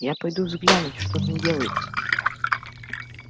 я пойду взглянуть что там делается